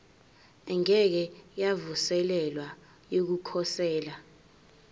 engeke yavuselelwa yokukhosela